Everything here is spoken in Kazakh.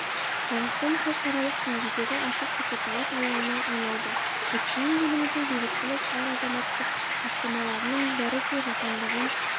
қазақстан халықаралық деңгейдегі ашық пікірталас алаңына айналды өйткені еліміздің бейбітшіл әрі адамзаттық бастамаларының бәрі де жаһанданған